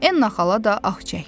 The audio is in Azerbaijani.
Enna xala da ah çəkdi.